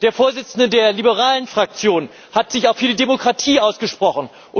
Der Vorsitzende der liberalen Fraktion hat sich auch für die Demokratie ausgesprochen.